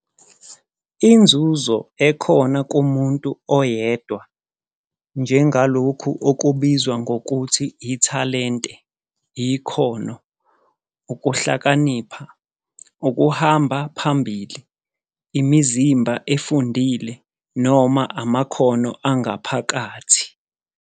Inzuzo ekhona kumuntu oyedwa njengalokhu okubizwa ngokuthi - "ithalente", ikhono, "ukuhlakanipha, "Ukuhamba phambili", "imizimba efundile", noma "amakhono angaphakathi."